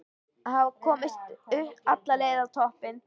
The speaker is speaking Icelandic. Að hafa komist alla leið á toppinn!